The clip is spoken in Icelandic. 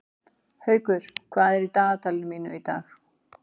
Haukur, hvað er í dagatalinu mínu í dag?